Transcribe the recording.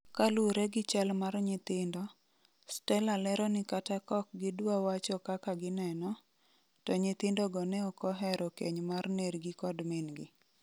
Kalure gi chal mar nyithindo, Stella lero ni kata kaokgidwa wacho kaka gineno, to nyithindogo neokohero keny mar nergi kod min gi.